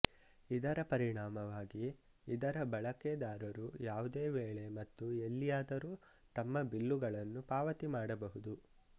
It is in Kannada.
ಇದರ ಪರಿಣಾಮವಾಗಿ ಇದರ ಬಳಕೆದಾರರು ಯಾವುದೇ ವೇಳೆ ಮತ್ತು ಎಲ್ಲಿಯಾದರೂ ತಮ್ಮ ಬಿಲ್ಲುಗಳನ್ನು ಪಾವತಿ ಮಾಡಬಹುದು